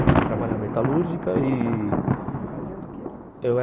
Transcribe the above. Comecei a trabalhar metalúrgica e... Fazendo o quê? Eu era